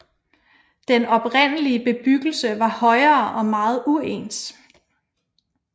Den oprindelige bebyggelse var højere og meget uens